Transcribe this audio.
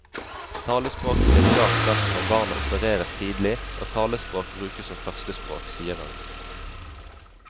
Talespråket blir klart best når barna opereres tidlig og talespråk brukes som førstespråk, sier hun.